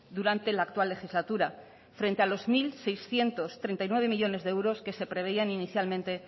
durante la actual legislatura frente a los mil seiscientos treinta y nueve millónes de euros que preveían inicialmente